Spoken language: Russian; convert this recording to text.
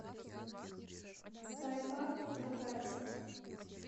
скай парк на карте